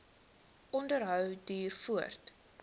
onderhou duur voort